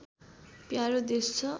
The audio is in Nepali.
प्यारो देश छ